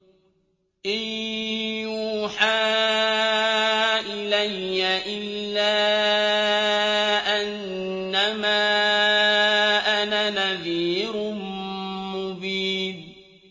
إِن يُوحَىٰ إِلَيَّ إِلَّا أَنَّمَا أَنَا نَذِيرٌ مُّبِينٌ